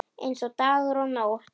Eins og dagur og nótt.